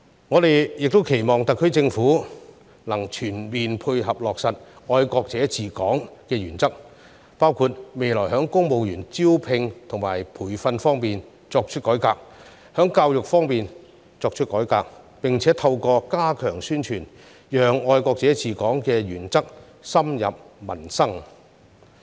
我們也期望特區政府能全面配合落實"愛國者治港"的原則，包括未來在公務員招聘和培訓方面作出改革，在教育方面作出改革，並且透過加強宣傳，讓"愛國者治港"的原則深入民心。